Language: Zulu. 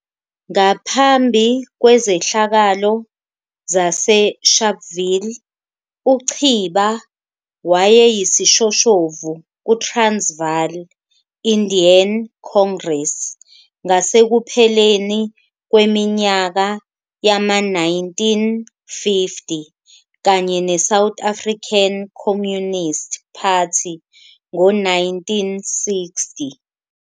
Ngaphambi kwezehlakalo zaseSharpville, uChiba wayeyisishoshovu kuTransvaal Indian Congress ngasekupheleni kweminyaka yama-1950 kanye neSouth African Communist Party ngo-1960.